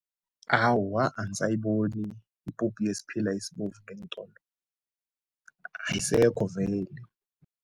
Awa, angisayiboni ipuphu yesiphila esibovu ngeentolo. Ayisekho vele.